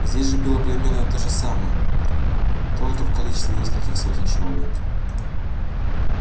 здесь же было примерно то же самое только в количестве нескольких сотен человек